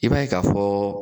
I b'a ye ka fɔ